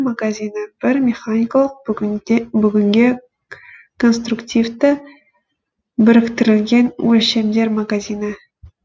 магазині бір механикалық бүгінде бүтінге конструктивті біріктірілген өлшемдер магазині